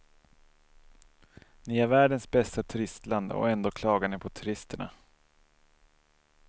Ni har världens bästa turistland och ändå klagar ni på turisterna.